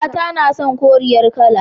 Mata na son koriyar kala.